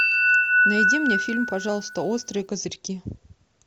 найди мне фильм пожалуйста острые козырьки